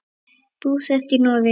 Búsett í Noregi.